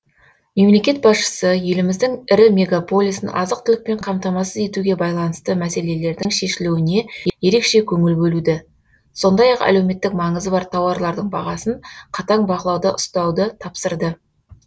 мемлекет басшысы еліміздің ірі мегаполисін азық түлікпен қамтамасыз етуге байланысты мәселелердің шешілуіне ерекше көңіл бөлуді сондай ақ әлеуметтік маңызы бар тауарлардың бағасын қатаң бақылауда ұстауды тапсырды